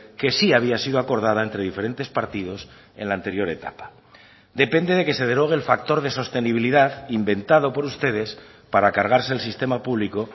que sí había sido acordada entre diferentes partidos en la anterior etapa depende de que se derogue el factor de sostenibilidad inventado por ustedes para cargarse el sistema público